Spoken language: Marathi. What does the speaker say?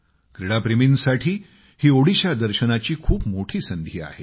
क्रीडाप्रेमींसाठी ही ओडिशा दर्शनाची खूप मोठी संधी आहे